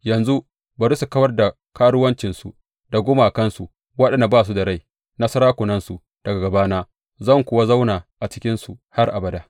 Yanzu bari su kawar da karuwancinsu da gumakansu waɗanda ba su da rai na sarakunansu daga gabana, zan kuwa zauna a cikinsu har abada.